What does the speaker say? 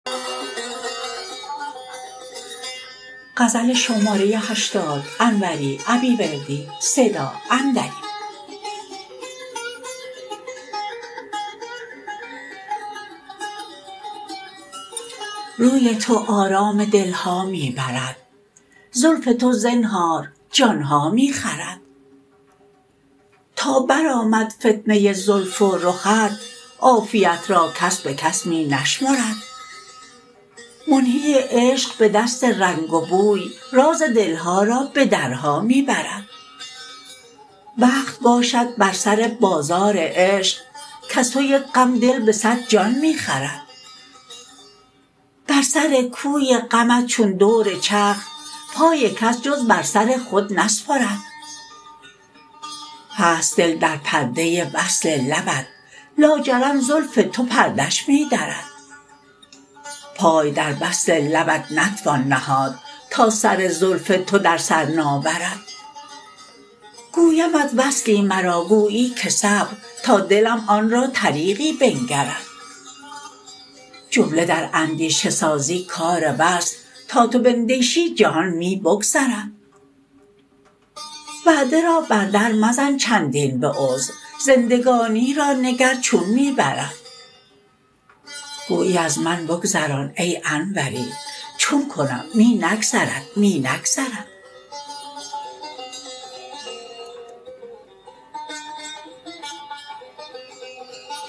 روی تو آرام دلها می برد زلف تو زنهار جانها می خورد تا برآمد فتنه زلف و رخت عافیت را کس به کس می نشمرد منهی عشق به دست رنگ و بوی راز دلها را به درها می برد وقت باشد بر سر بازار عشق کز تو یک غم دل به صد جان می خرد بر سر کوی غمت چون دور چرخ پای کس جز بر سر خود نسپرد هست دل در پرده وصل لبت لاجرم زلف تو پرده اش می درد پای در وصل لبت نتوان نهاد تا سر زلف تو در سر ناورد گویمت وصلی مرا گویی که صبر تا دلم آن را طریقی بنگرد جمله در اندیشه سازی کار وصل تا تو بندیشی جهان می بگذرد وعده را بر در مزن چندین به عذر زندگانی را نگر چون می برد گویی از من بگذران ای انوری چون کنم می نگذرد می نگذرد